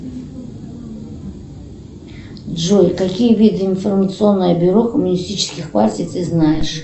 джой какие виды информационное бюро коммунистических партий ты знаешь